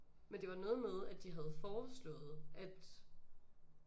Men det var noget med at de havde foreslået at